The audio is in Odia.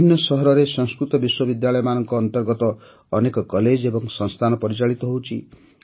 ବିଭିନ୍ନ ସହରରେ ସଂସ୍କୃତ ବିଶ୍ୱବିଦ୍ୟାଳୟମାନଙ୍କ ଅନ୍ତର୍ଗତ ଅନେକ କଲେଜ ଏବଂ ସଂସ୍ଥାନ ପରିଚାଳିତ ହେଉଛି